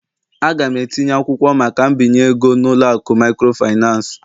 A ga m etinye akwụkwọ maka mbinye ego n'ụlọ akụ microfinance